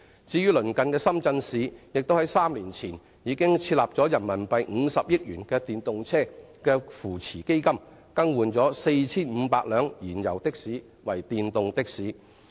至於鄰近的深圳市，早於3年前已設立50億元人民幣電動車扶持資金，幫助淘汰 4,500 輛燃油的士，推動電動的士發展。